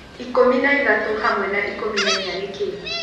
ikũmi na ithatũ hamwe na ikũmi na ĩnya nĩ kĩĩ